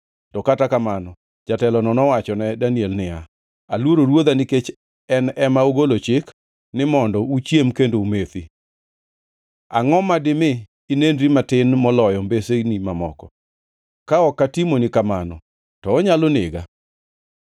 to kata kamano jatelono nowachone Daniel niya, “Aluoro ruodha nikech en ema ogolo chik ni mondo uchiem kendo umethi. Angʼo dimi inenri matin moloyo mbesini mamoko? Ka ok atimoni kamano, to onyalo nega.”